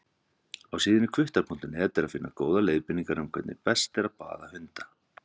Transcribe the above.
Á síðunni hvuttar.net er að finna góðar leiðbeiningar um hvernig best er að baða hunda.